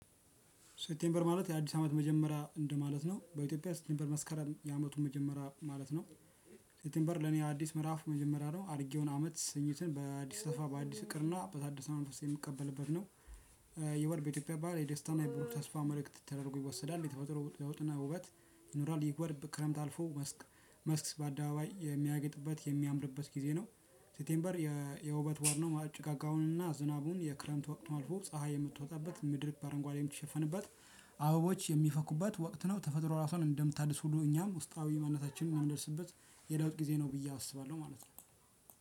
ሴፕቴምበር ማለት የአዲስ አመት መጀመሪያ እንደማለት ነው በኢትዮጵያ መስከረም የአመቱ መጀመሪያ ማለት ነው። ሴፕቴምበር ለኔ አዲስ ምዕራፍ መጀመሪያ ነው አርጌውን አመት ስኝተን በአዲስ ተስፋ በአዲስ እቅድና በታደሰ መንፈስ የምቀበልበት ነው። ይህ ወር በኢትዮጵያ በዓል የደስታን የብህሩ ተስፋ መልእክት ተደርጎ ይወሰዳል የተፈጥሮ ለውጥና ውበት። ይኖራል ይህ ወር በክረምት አልፎ መስክ መስክ በአደባባይ የሚያግጥበት የሚያምርበት ጊዜ ነው። ሴፕቴምበር የውበት ወር ነው ጭጋጋውንና ዝናቡን የክረምት ወቅት አልፎ ፀሀይ የምትወጣበት ምድር በአረንጓዴም የምትሸፈንበት አበቦች የሚፈኩበት ወቅት ነው። ተፈጥሮ እራሷን እንደምታድስ ሁሉ እኛም ውስጣዊ ማንነታችን የምናድስበት የለውጥ ጊዜ ነው ብዬ አስባለሁ ማለት ነው።